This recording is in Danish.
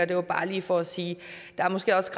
det var bare lige for at sige at der måske også